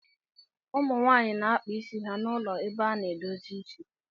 ụmụ nwaanyị na-akpa isi ha na ụlọ ebe a na-edozi isi